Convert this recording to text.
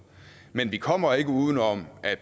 men vi kommer ikke uden om at